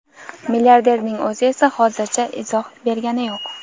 Milliarderning o‘zi esa hozircha izoh bergani yo‘q.